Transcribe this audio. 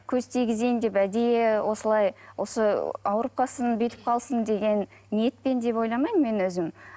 көз тигізейін деп әдейі осылай осы ауырып қалсын бүйтіп қалсын деген ниетпен деп ойламаймын мен өзім